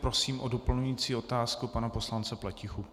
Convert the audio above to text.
Prosím o doplňující otázku pana poslance Pletichu.